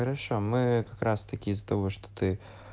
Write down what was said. хорошо мы как раз таки из-за того что ты